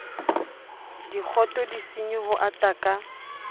dikgoto disenyi ho ata ka